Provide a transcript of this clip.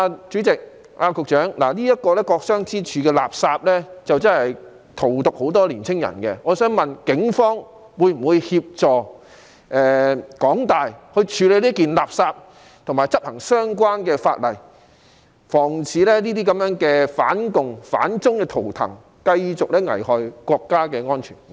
主席，局長，"國殤之柱"這件垃圾，真是荼毒了很多年青人，我想問警方會否協助港大處理這件垃圾，以及執行相關的法例，防止這些反共、反中的圖騰繼續危害國家安全？